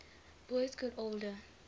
boas got older